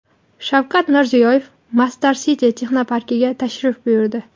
Shavkat Mirziyoyev Masdar City texnoparkiga tashrif buyurdi.